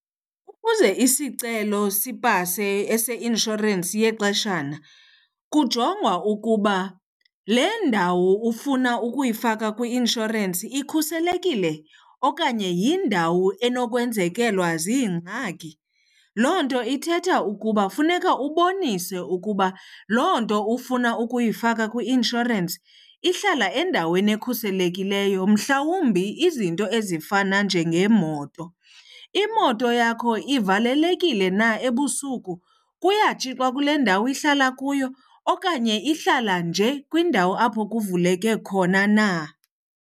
Ukuze isicelo sipase eseinshorensi yexeshana kujongwa ukuba le ndawo ufuna ukuyifaka kwi-inshorensi ikhuselekile okanye yindawo enokwenzekelwa ziingxaki. Loo nto ithetha ukuba funeka ubonise ukuba loo nto ufuna ukuyifaka kwi-inshorensi ihlala endaweni ekhuselekileyo, mhlawumbi izinto ezifana njengeemoto. Imoto yakho ivalelekile na ebusuku? Kuyatshixwa kule ndawo ihlala kuyo okanye ihlala nje kwiindawo apho kuvuleke khona na?